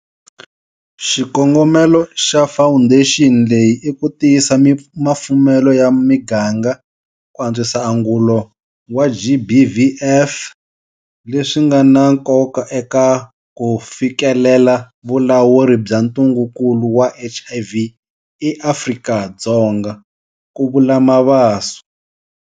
Xikongomelo xa fawundexini leyi i ku tiyisa mafumelo ya miganga ku antswisa angulo wa GBVF, leswi nga na nkoka eka ku fikelela vulawuri bya ntungukulu wa HIV eAfrika-Dzonga, ku vula Mabaso.